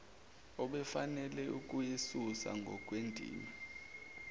obefanele ukuyisusa ngokwendima